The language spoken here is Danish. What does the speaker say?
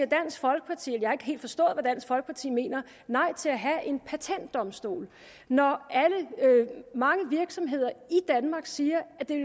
dansk folkeparti mener nej til at have en patentdomstol når mange virksomheder i danmark siger at det